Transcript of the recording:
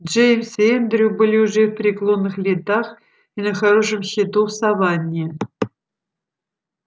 джеймс и эндрю были уже в преклонных летах и на хорошем счету в саванне